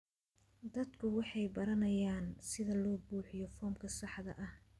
Dadku waxay baranayaan sida loo buuxiyo foomka saxda ah.